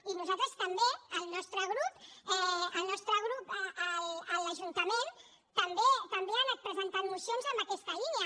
i nosaltres també el nostre grup el nostre grup a l’ajuntament també ha anat presentant mocions en aquesta línia